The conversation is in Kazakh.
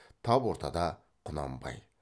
тап ортада құнанбай